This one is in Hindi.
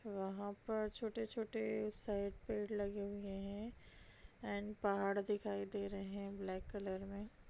वहाँ पर छोटे-छोटे साइड पेड़ लगे हुए हैं एंड पहाड़ दिखाई दे रहे हैं ब्लैक कलर में।